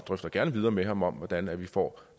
drøfter gerne videre med ham om hvordan vi får